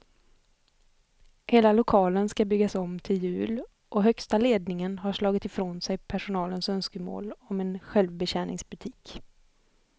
Hela lokalen ska byggas om till jul och högsta ledningen har slagit ifrån sig personalens önskemål om en självbetjäningsbutik.